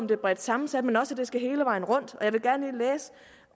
det er bredt sammensat men også at det skal hele vejen rundt